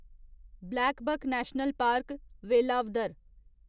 blackbuck national park, Velavadar